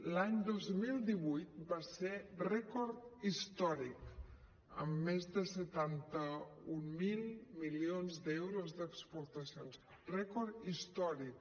l’any dos mil divuit va ser rècord històric amb més de setanta mil milions d’euros d’exportacions rècord històric